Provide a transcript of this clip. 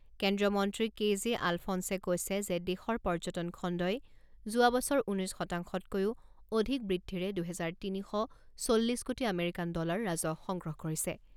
কেন্দ্ৰীয় মন্ত্ৰী K J আলফনছে কৈছে যে দেশৰ পৰ্যটন খণ্ডই যোৱা বছৰ ঊনৈছ শতাংশতকৈও অধিক বৃদ্ধিৰে দুহেজাৰ তিনি শ চল্লিছ কোটি আমেৰিকান ডলাৰ ৰাজহ সংগ্ৰহ কৰিছে।